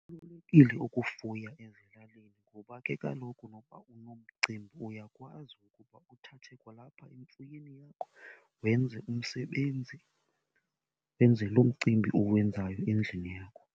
Kubalulekile ukufuya ezilalini ngoba ke kaloku nokuba unomcimbi uyakwazi ukuba uthathe kwalapha emfuyweni yakho wenze umsebenzi, wenze loo mcimbi uwenzayo endlini yakho.